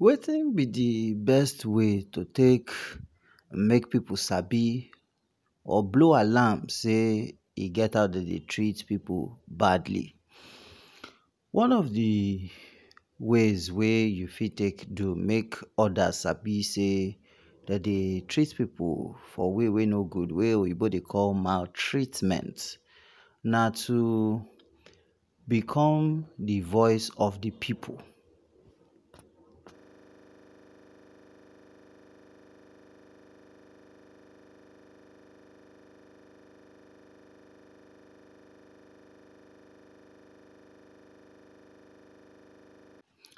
Wetin b d best way to take make pipu sabi or blow alarm sey e get as dem dey treat pipu badly, one of d ways wey u fit take do make odas sabi sey, dem dey treat pipu for way wey no go wey oyinbo dey call maltreatment, na to become d voice of d pipu.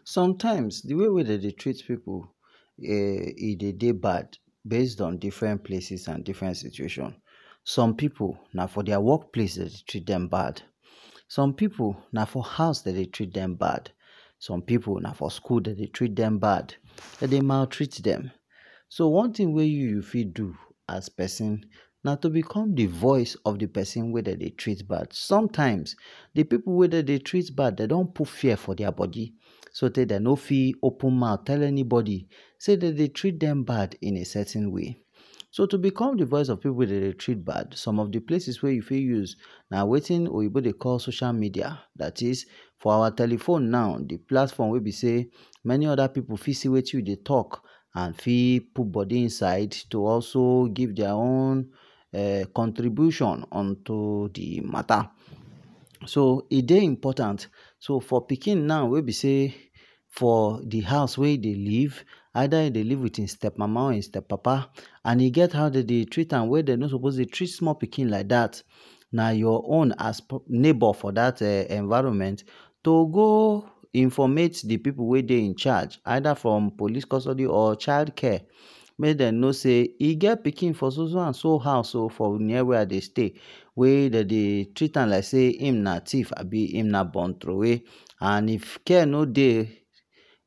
sometimes d way wey dem dey traet pipu e dey bad, based on different places and different situation, some pipu, na for dia workplace dem dey treat dem bad, some pipu na for house dem dey treat dem bad, some pipu na for school dem dey treat dem bad, dem dey maltreat dem, so one thing wey u fit do as persin na to bcome d voice of persin wey dey treat bad, sometimes d pipu wey dem dey treat bad dem don put fear for dia body, so tay dem no fit open mouth tell anybody sey dem dey treat dem bad, in a certain way, so to become d voice of pipu wey dem dey treat bad some places wey u fit use na wetin oyinbo dey call social media, dat is for our telephone now d plaform, many oda pipu fit see wetin u dey talk and fit put vody inside to also give dia contribution unto d matter, so e dey important, so for pikin wey b sey d house wey e dey live, either e dey live with hin step mama or step papa and e get how dem dey treat am, wey dem no suppose dey treat small pikin like dat, na for d neighbor for dat environment to go informate d pipu wey dey incharge, either for police custody or child care make dem no say e get pikin for so so and so house wey I dey stay, wey b sey dem dey treat am like hin na thief abi hin na born throwway, and if care no dey,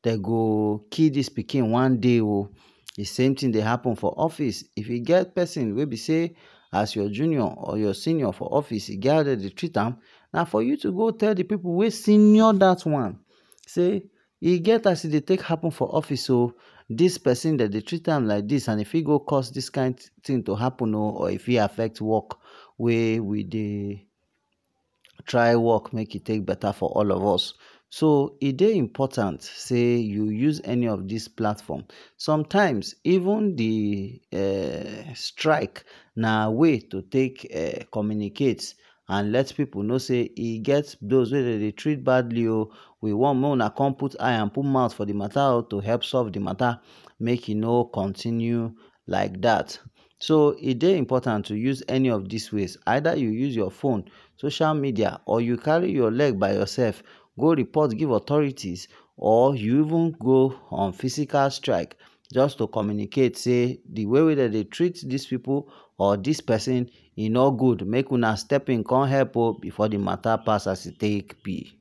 dey go kill dis pikin one dey oh. D same thing dey happen for office if u get persin wey b sey as your senior or junior for your office, e get as dem dey take treat am na to go tell d pipu wey senior dat one sey e get as e dey take happen for office oh, dis persin dem dey treat am like dis and e fit go cause dis kind thing to happen and e fit affect work wey we dey try work make e take better for all of us, so e dey important sey u use any of dis platform, sometimes even d strike na way to take communicate and let pipu know sey e get those wey dem dey treat badly oh, we want make una put eye and mouth, for d matter to help solve d matter make e no countinue like dat, so e dey important to use any of dis ways, either u use your phone, social media or u carry your leg by yourself go report give authorities or u even go on physical strike jus to communicate sey d way wey dem dey treat dis pipu or dis persin, e no good, make una step in con help o before d matter pass as e take b.